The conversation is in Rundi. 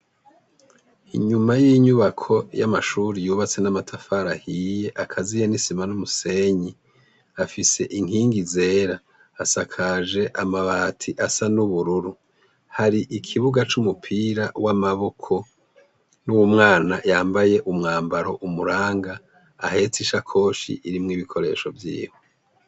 Inyuma y'inyubako y'amatafari ahiye akaziye hamwe n'isima n'umusenyi afise inkingi zera asakajwe amabati asa n'ubururu. Har'ikibuga c'umupira w'amaboko n'umwana yambaye umwambaro umuranga ahetse ishakoshi irimwo ibikoresho vyiwe.